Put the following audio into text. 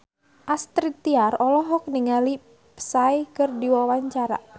Astrid Tiar olohok ningali Psy keur diwawancara